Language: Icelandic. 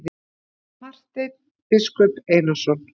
Marteinn biskup Einarsson.